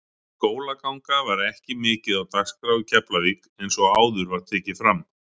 Skólaganga var ekki mikið á dagskrá í Keflavík eins og áður var tekið fram.